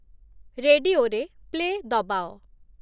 ରେଡିଓରେ play ଦବାଅ